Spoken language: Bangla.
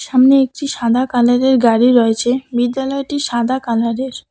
সামনে একটি সাদা কালারের গাড়ি রয়েছে বিদ্যালয়টি সাদা কালারের ।